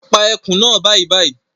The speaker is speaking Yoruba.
Pa ẹkùn naa bàìbàì!